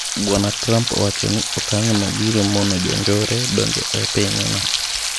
Bwana Trump owachoni okang' no biro mono jonjore donje epiny no.